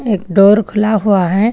एक डोर खुला हुआ है।